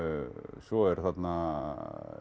svo eru þarna